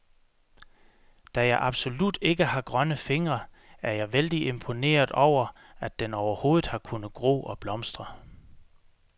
Da jeg absolut ikke har grønne fingre, er jeg vældig imponeret over, at den overhovedet har kunnet gro og blomstre.